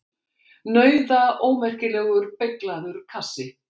Nauðaómerkilegur, beyglaður kassi!